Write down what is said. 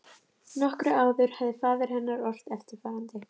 Nokkru áður hafði faðir hennar ort eftirfarandi